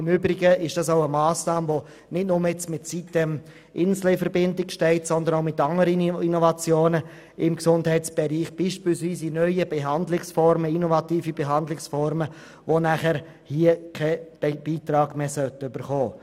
Im Übrigen steht diese Massnahme nicht nur mit sitem-insel in Verbindung, sondern betrifft auch andere Innovationen im Gesundheitsbereich, wie beispielsweise neue Behandlungsformen, die nicht mehr finanziell unterstützt werden sollen.